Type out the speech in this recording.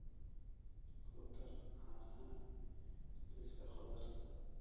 ku dar caanaha liiska khudaarta